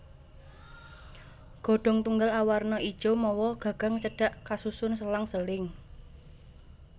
Godhong tunggal awerna ijo mawa gagang cendhak kasusun selang seling